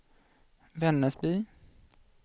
Vännäsby